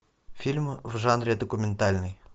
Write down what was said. фильмы в жанре документальный